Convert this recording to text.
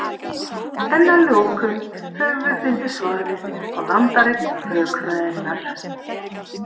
en að lokum höfum við fundið svarið á landareign rökfræðinnar